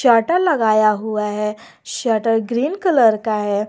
Charter लगाया हुआ है शटर ग्रीन कलर का है।